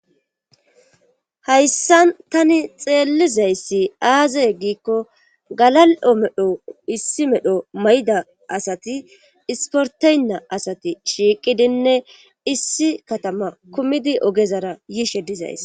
Hayssan tani xeellizayssi aaze giikko galal7o medho issi medho mayda asati isporteynna asati shiiqidinne issi katama kumidi ogezara yiishe dizays.